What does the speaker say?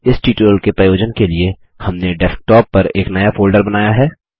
इस ट्यूटोरियल के प्रयोजन के लिए हमने डेस्क्टॉप पर एक नया फोल्डर बनाया है